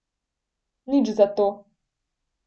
Nič zato.